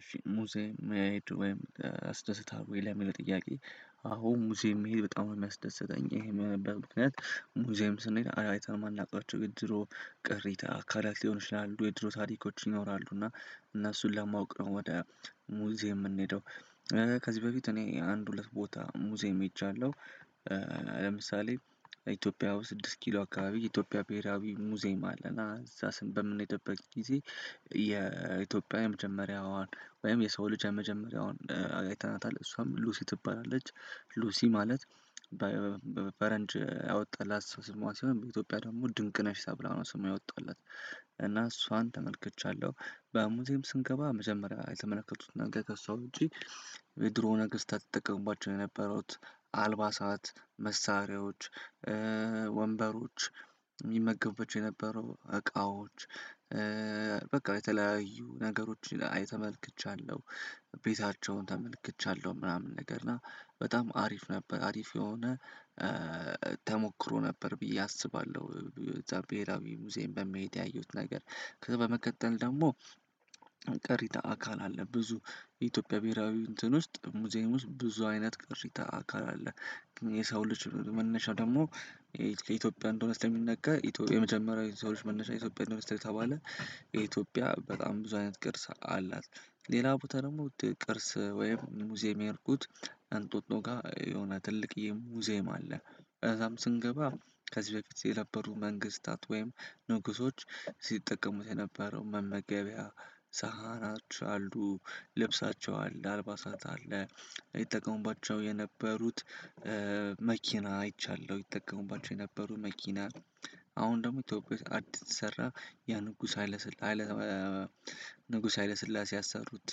እሺ ሙዚየም መሄድ ወይም ያስደስትሀል ወይ? ለሚለው ጥያቄ አዎ፣ ሙዚየም መሄድ በጣም ነው የሚያስደስተኝ። ይሄም የሆነበት ምክንያት ሙዚየም ስንሄድ አይተነው ማናውቃቸው ድሮ ቅሪተ አካላት ሊሆኑ ይችላሉ። የድሮ ታሪኮች ይኖራሉ። እና እነሱን ለማወቅ ነው ወደ ሙዚየም የምንሄደው ከዚህ በፊት እኔ አንድ ሁለት ቦታ ሙዚየም ሄጃለሁ። ለምሳሌ ኢትዮጵያ ውስጥ ስድስት ኪሎ አካባቢ ኢትዮጵያ ብሄራዊ ሙዚየም አለና እዛ በምንሄድበት ጊዜ የኢትዮጵያ የመጀመሪያዋን ወይም የሰው ልጅ የመጀመሪያዋን አይተናታል። እሷም ሉሲ ትባላለች። ሉሲ ማለት ፈረንጅ ያወጣላት ስሟ ሲሆን በኢትዮጵያ ደግሞ ድንቅ ነሽ ተብላ ነው ስሟ የወጣላት። እና እሷን ተመልክቻለሁ። በሙየምም ስንገባ መጀመሪያ የተመለከቱት ነገር ከእሷ ውጪ የድሮ ነገስታት ይጠቀመውባቸው የነበሩት አልባሳት፣ መሳሪያዎች፣ ወንበሮች፣ ሚመገቡባቸው የነበሩ እቃዎች፣ በቃ የተለያዩ ነገሮችን ተመልክቻለሁ። ቤታቸውን ተመልክቻለሁ ምናምን ነገር እና በጣም አሪፍ ነበር። አሪፍ የሆነ ተሞክሮ ነበር ብዬ አስባለሁ። እዛ ብሄራዊ ሙዚየም በመሄድ ያየሁት ነገር። ከዛ በመቀጠል ደግሞ ቀሪተ አካል አለ። ብዙ ኢትዮጵያ ብሄራዊ እንትን ውስጥ ሙዚየሙ ውስጥ ብዙ አይነት ቅሪተ አካል አለ። የሰው ልጅ መነሻው ደግሞ ከኢትዮጵያ እንደሆነ ስለሚነገር የመጀመሪያው የሰው ልጅ መነሻ ኢትዮጵያ እንደሆነ ስለተባለ የኢትዮጵያ በጣም ብዙ አይነት ቅርስ አላት። ሌላ ቦታ ደግሞ ቅርስ ወይም ሙዚየም የሄድኩት አንጦጦ ጋር የሆነ ትልቅ የሙዚየም አለ። ከዛም ስንገባ ከዚህ በፊት የነበሩ መንግስታት ወይም ንጉሶች ሲጠቀሙት የነበረው መመገቢያ፣ ፃህኖች አሉ፣ ልብሳቸው አለ፣ አልባሳት አለ፣ ይጠቀሙባቸው የነበሩት መኪና አይቻለሁ፣ ይጠቀሙባቸው የነበሩ መኪና። አሁን ደግሞ ኢትዮጵያ አዲስ ሰራ የንጉስ ሀይለ ንጉስ ሀይለ ስላሴ ያሰሩት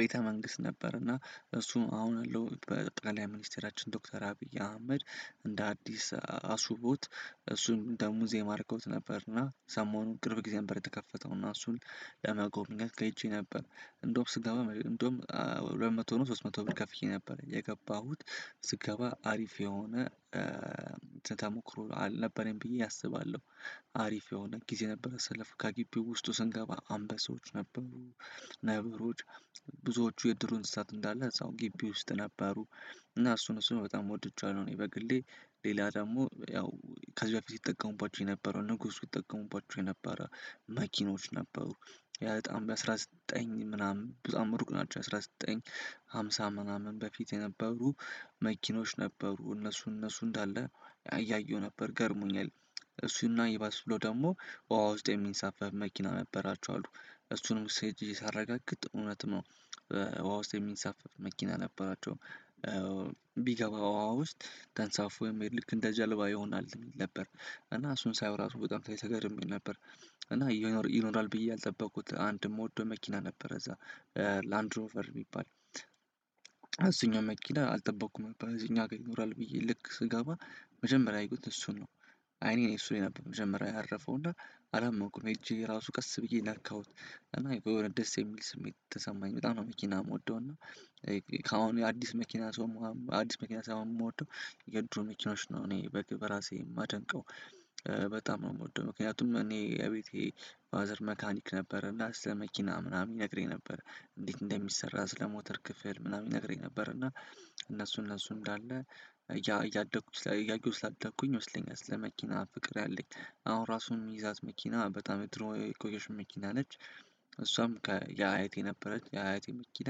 ቤተ መንግስት ነበር። እና እሱም አሁን ያለው ጠቅላይ ሚኒስትራችን ዶክተር አብይ አህመድ እንደ አዲስ አስውበውት እሱን እንደ ሙዚየም አድርገውት ነበርና ሰሞኑን ቅርብ ጊዜ አንበር የተከፈተው። እና እሱን ለመጎብኘት ሄጄ ነበር። እንደውም ስገባ እንደውም ሁለት መቶ ነው ሶስት መቶ ብር ከፍየ ነበር የገባሁት። ስገባ አሪፍ የሆነ ተሞክሮ አልነበረኝ ብዬ አስባለሁ። አሪፍ የሆነ ጊዜ ነበር ያሳለፍኩት። ከግቢው ውስጡ ስንገባ አምበሶች ነበሩ፣ ነብሮች ብዙዎቹ የዱር እንስሳት እንዳለ እዛው ግቢ ውስጥ ነበሩ እና እሱን እሱን በጣም ወድጀዋለሁ። እኔ በግሌ ሌላ ደግሞ ያው ከዚያ በፊት ይጠቀሙባቸው የነበረው ንጉሱ ይጠቀሙባቸው የነበረ መኪኖች ነበሩ። ያ በጣም በአስራ ዘጠኝ ምናምን በጣም እሩቅ ናቸው። በአስራ ዘጠኝ ሃምሳ ምናምን በፊት የነበሩ መኪኖች ነበሩ። እነሱ እነሱ እንዳለ እያየሁ ነበር። ገርሞኛል እሱና ይባስ ብሎ ደግሞ በውሃ ውስጥ የሚንሳፈፍ መኪና ነበራቸው አሉ። እሱንም እዛ ሄጀ ሳረጋግጥ እውነት ነው ውሃ ውስጥ የሚንሳፈፍ መኪና ነበራቸው። ቢገባ ውሃ ውስጥ ተንሳፎ ወይም ልክ እንደ ጀልባ ይሆናል የሚል ነበር። እና እሱን ሳየው እራሱ በጣም ተገርሜ ነበር። እና ይኖራል ብዬ ያልጠበኩት አንድ ምወደው መኪና ነበረ። እዛ ላንድሮፈር የሚባል እሱኛው መኪና አልጠበቅኩም እዚህኛው ሀገር ይኖራል ብዬ። ልክ ስገባ መጀመሪያ ያየሁት እሱን ነው። አይኔ እሱ ላይ ነበር መጀመሪያ ያረፈው። እና አላመንኩም እጄ ራሱ ቀስ ብዬ ነካሁት። እና የሆነ ደስ የሚል ስሜት ተሰማኝ። በጣም ነው መኪና የምወደው። እና ከአሁን የአዲስ መኪና ሳይሆ አዲስ መኪና ሳይሆን የምወደው የድሮ መኪኖች ነው እኔ በራሴ የማደንቀው። በጣም ነው የምወደው። ምክንያቱም እኔ እቤቴ ፋዘር መካኒክ ነበረ እና ለመኪና ምናምን ይነግረኝ ነበረ። እንዴት እንደሚሰራ ስለ ሞተር ክፍል ምናምን ይነግረኝ ነበረ። እና እነሱ እነሱ እንዳለ እያደኩ እያየሁ ስላደኩኝ ይመስለኛልኛ ስለ መኪና ፍቅር ያለኝ። አሁን ራሱን የምትይዛት መኪና በጣም የድሮ የቆየች መኪና ነች። እሷም ከየአያቴ ነበረች። የአይቴ መኪና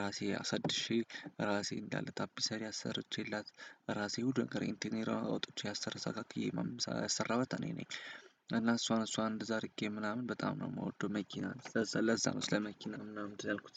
ራሴ አሳድሼ ራሴ እንዳለ ታፒሰሪ አሰርቼላት ራሴ ሁሉ ነገር ከሬንቲኔራ አውጥቼ አስተካክዬ ያሰራሁት እኔ ነኝ። እና እሷን እሷን እንደዛ አድርጌ ምናምን በጣም ነው የምወደው መኪና። ለዛ ነው ስለመኪና ምናምን እንትን ያልኩት።